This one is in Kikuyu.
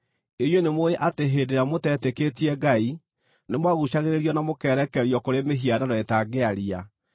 Inyuĩ nĩmũũĩ atĩ hĩndĩ ĩrĩa mũteetĩkĩtie Ngai, nĩmwaguucagĩrĩrio na mũkerekerio kũrĩ mĩhianano ĩtangĩaria.